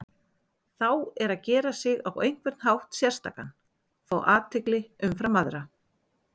Þá er að gera sig á einhvern hátt sérstakan, fá athygli umfram aðra.